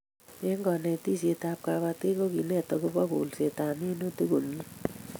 Eng' kanetishet ab kabatik ko kinet akobo kolset ab minutik komie